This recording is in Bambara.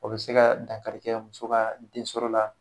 O be se ka dankari kɛ muso ka den sɔrɔ la .